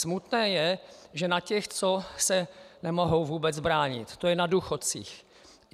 Smutné je, že na těch, co se nemohou vůbec bránit, to je na důchodcích.